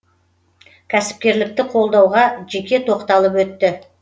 кәсіпкерлікті қолдауға жеке тоқталып өтті